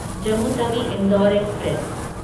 Jammu Tawi Indore express